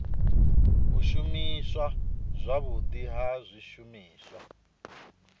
u shumiswa zwavhudi ha zwishumiswa